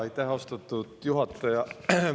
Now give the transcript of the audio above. Aitäh, austatud juhataja!